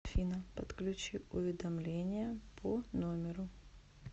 афина подключи уведомления по номеру